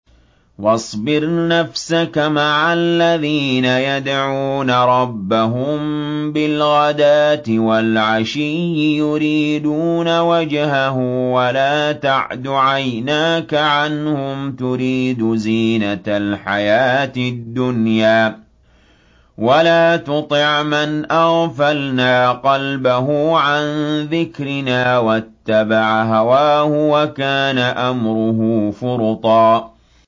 وَاصْبِرْ نَفْسَكَ مَعَ الَّذِينَ يَدْعُونَ رَبَّهُم بِالْغَدَاةِ وَالْعَشِيِّ يُرِيدُونَ وَجْهَهُ ۖ وَلَا تَعْدُ عَيْنَاكَ عَنْهُمْ تُرِيدُ زِينَةَ الْحَيَاةِ الدُّنْيَا ۖ وَلَا تُطِعْ مَنْ أَغْفَلْنَا قَلْبَهُ عَن ذِكْرِنَا وَاتَّبَعَ هَوَاهُ وَكَانَ أَمْرُهُ فُرُطًا